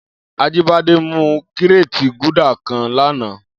Ajibade mú kiréti Gúdà kãn lànã